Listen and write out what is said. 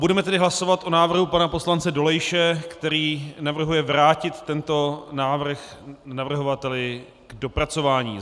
Budeme tedy hlasovat o návrhu pana poslance Dolejše, který navrhuje vrátit tento návrh navrhovateli k dopracování.